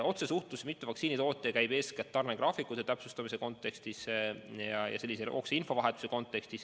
Otsesuhtlus mitme vaktsiinitootjaga käib eeskätt tarnegraafikute täpsustamiseks vajaliku infovahetuse korras.